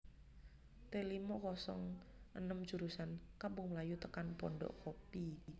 T limo kosong enem jurusan Kampung Melayu tekan Pondok Kopi